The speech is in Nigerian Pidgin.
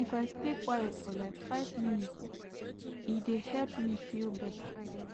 if i stay quiet for like five minute e dey help me feel better